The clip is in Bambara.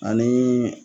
Ani